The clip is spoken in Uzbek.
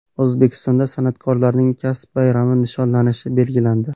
O‘zbekistonda san’atkorlarning kasb bayrami nishonlanishi belgilandi.